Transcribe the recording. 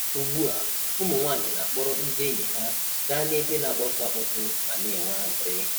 Ugbua, ụmụnwanyị na-akpọrọ ndị enyi ha ga nebe na-akpọtụ akpọtụ, ma na-enwe anụrị.